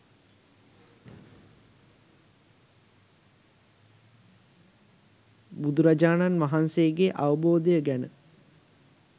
බුදුරජාණන් වහන්සේගේ අවබෝධය ගැන